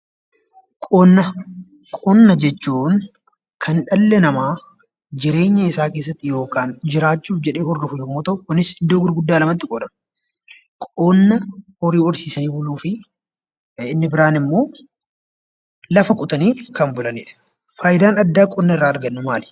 Qonna jechuun kan dhalli namaa jireenya isaa keessatti yookaan jiraachuuf jedhee hordofu yommuu ta'u kunis iddoo gurguddaa lamatti qoodama. Qonna horii horsiisan ooluu fi inni biraan immoo lafa qotaniif kan bulanidha. Faayidaan addaa qonna irraa argannu maali?